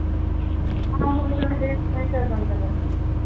ਆਹੋ ਚੱਲ ਦੇਖਦੇ ਸ਼ਾਇਦ ਬਣ ਜਾਵੇ ਕੋਈ